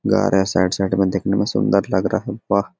घर है side -side में देखने में सुंदर लग रहा हैं वाह!